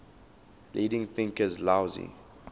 leading thinkers laozi